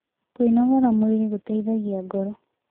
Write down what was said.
Kwĩnogora mwĩrĩ gũteĩthagĩa ngoro